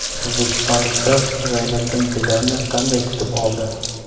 O‘zbekistonliklar Zayniddin Zidanni qanday kutib oldi?